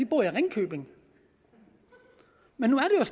bor i ringkøbing nu er